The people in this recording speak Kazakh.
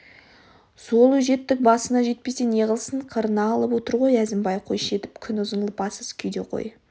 сол өжеттік басына жетпесе неғылсын қырына алып отыр ғой әзімбай қойшы етіп күн ұзын лыпасыз күйде қой